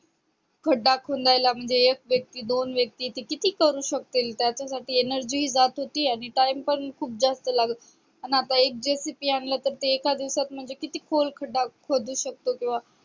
खड्डा खोदायला एक व्यक्ती दोन व्यक्ती म्हणजे किती करू शकतील त्याच्यासाठी energy हि जात होती आणि time पण खूप जास्त लागत होता आणि आता एक JCB आणला तर एका दिवसात म्हणजे किती खोल खड्डा खोदु शकतो किंवा